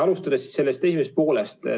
Alustan küsimuse esimesest poolest.